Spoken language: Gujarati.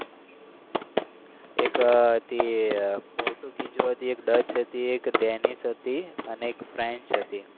એક હતી પોર્ટુગીઝ એક ડેનિસ હતી અને એક ફ્રેન્ચ હતી.